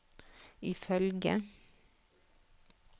ifølge